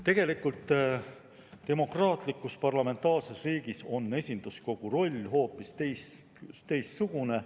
Tegelikult on demokraatlikus parlamentaarses riigis esinduskogu roll hoopis teistsugune.